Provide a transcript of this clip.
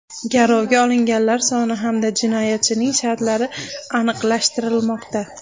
Garovga olinganlar soni hamda jinoyatchining shartlari aniqlashtirilmoqda.